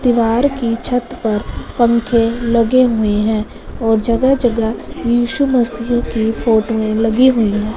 दीवार की छत पर पंखे लगे हुए हैं और जगह जगह यीशु मसीह की फोटोए लगी हुई है।